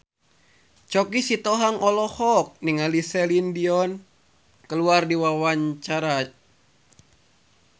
Choky Sitohang olohok ningali Celine Dion keur diwawancara